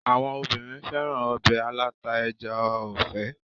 Àwọn obìnrin féràn ọbẹ̀ aláta ẹja ọ̀fẹ́.